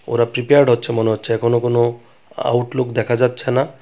ওরা প্রিপেয়ার্ড হচ্ছে মনে হচ্ছে এখনও কোনো আ-আউটলুক দেখা যাচ্ছে না .